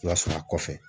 I b'a sɔnna kɔfɛ